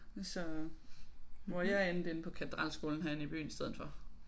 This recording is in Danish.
Så hvor jeg endte inde på Katedralskolen herinde i byen i stedet for